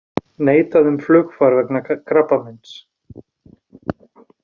Neitað um flugfar vegna krabbameins